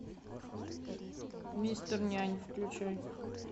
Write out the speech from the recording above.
мистер нянь включай